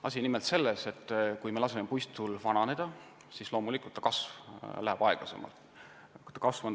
Asi on nimelt selles, et kui laseme puistul vananeda, siis tema kasv loomulikult aeglustub.